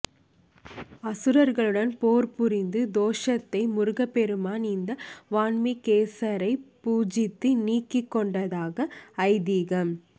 அசுரர்களுடன் போர் புரிந்த தோஷத்தை முருகப்பெருமான் இந்த வன்மீகேசரைப் பூஜித்து நீக்கிக் கொண்டதாக ஐதீகம்